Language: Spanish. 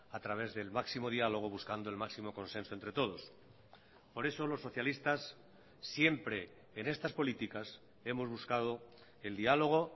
a través del máximo diálogo buscando el máximo consenso entre todos por eso los socialistas siempre en estas políticas hemos buscado el diálogo